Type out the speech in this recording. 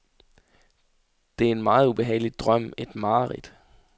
Det er en meget ubehagelig drøm, et mareridt.